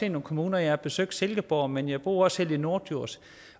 i nogle kommuner jeg har besøgt silkeborg men jeg bor selv i norddjurs